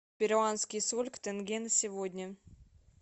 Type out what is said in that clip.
перуанский соль к тенге на сегодня